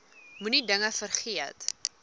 moenie dinge vergeet